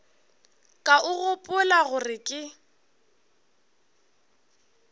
ka o gopola gore ke